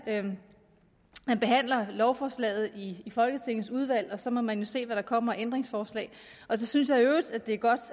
at man behandler lovforslaget i folketingets udvalg og så må man jo se hvad der kommer af ændringsforslag så synes jeg i øvrigt det er godt